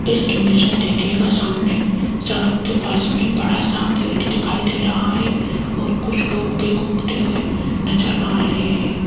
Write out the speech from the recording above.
इस इमेज में देखिएगा सामने सड़क के पास में बड़ा सा गेट दिखाई दे रहा है और कुछ लोग भी घूमते हुए नजर आ रहे हैं।